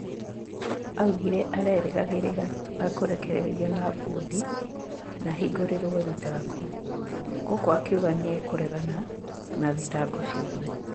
Augire arerĩgagĩrĩra ekũrekererio na bondi na ahingũrĩrwo thitango, guku akiuga nĩ ekũregana na thitango ciothe